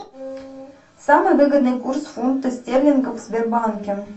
самый выгодный курс фунта стерлинга в сбербанке